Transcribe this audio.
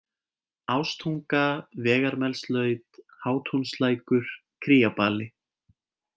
Ástunga, Vegarmelslaut, Hátúnslækur, Kríabali